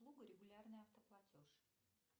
услуга регулярный автоплатеж